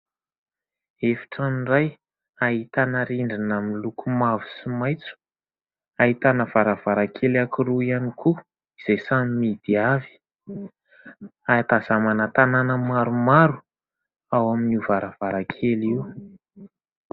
Efitrano iray, ahitana rindrina miloko mavo sy maitso; ahitana varavarankely anankiroa ihany koa izay samy mihidy avy. Ahatazanana tanàna maromaro ao amin'io varavarankely io.